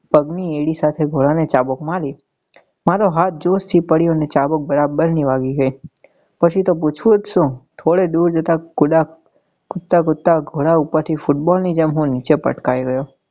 પગ ની એડી સાથે ઘોડા ને ચાબુક મારી મારો હાથ જોસ થી પડ્યો ને ચાબુક બરાબર ની વાગી ગઈ પછી તો પૂછવું જ શું થોડે દુર જતા ઘોડા કુદતા કુદતા ઘોડા ઉપર થી football ની જેમ હું નીચે પટકાઈ ગયો.